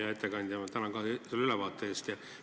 Hea ettekandja, ka mina tänan teid selle ülevaate eest!